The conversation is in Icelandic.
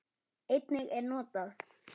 Einnig er notað